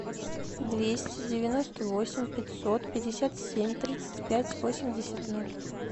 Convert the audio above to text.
двести девяносто восемь пятьсот пятьдесят семь тридцать пять восемьдесят ноль